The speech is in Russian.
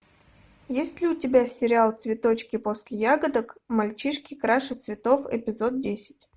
есть ли у тебя сериал цветочки после ягодок мальчишки краше цветов эпизод десять